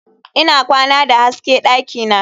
Ina kwana da hasken dakina.